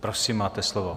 Prosím, máte slovo.